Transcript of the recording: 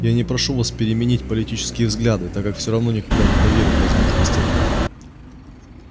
я не прошу вас переменить политические взгляды так как всё равно никогда не поверю в возможность этого